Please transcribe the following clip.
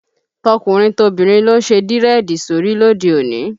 Tọkùnrin tobìnrin ló ń ṣe dírẹ́ẹ̀dì sórí lóde òní